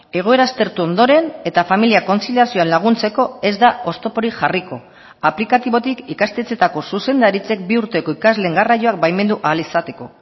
egoera aztertu ondoren eta familia kontziliazioan laguntzeko ez da oztoporik jarriko aplikatibotik ikastetxeetako zuzendaritzek bi urteko ikasleen garraioa baimendu ahal izateko